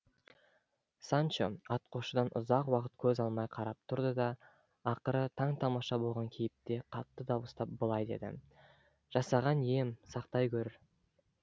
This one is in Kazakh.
санчо атқосшыдан ұзақ уақыт көз алмай қарап тұрды да ақыры таң тамаша болған кейіпте қатты дауыстап былай деді жасаған ием сақтай гөр